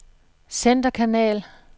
centerkanal